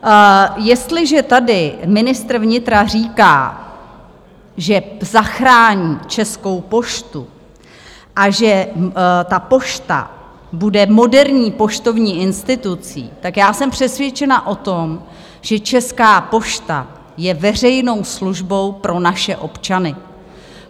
Jestliže tady ministr vnitra říká, že zachrání Českou poštu a že ta Pošta bude moderní poštovní institucí, tak já jsem přesvědčena o tom, že Česká pošta je veřejnou službou pro naše občany.